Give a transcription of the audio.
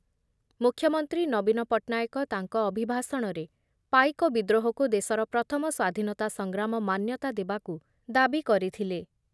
ମୁଖ୍ୟମନ୍ତ୍ରୀ ନବୀନ ପଟ୍ଟନାୟକ ତାଙ୍କ ଅଭିଭାଷଣରେ ପାଇକ ବିଦ୍ରୋହକୁ ଦେଶର ପ୍ରଥମ ସ୍ଵାଧୀନତା ସଂଗ୍ରାମ ମାନ୍ୟତା ଦେବାକୁ ଦାବି କରିଥିଲେ ।